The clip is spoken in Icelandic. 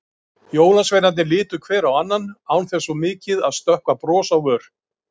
Jólasveinarnir litu hver á annan, án þess svo mikið að stökkva bros á vör.